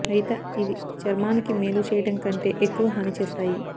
అయిత ఇవి చర్మానికి మేలు చేయడం కంటే ఎక్కువ హాని చేస్తాయి